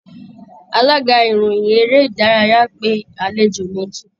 Alága ìròyìn eré ìdárayá pé àlejò méjì